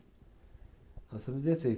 Nós somos dezesseis.